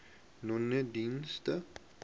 nonedienste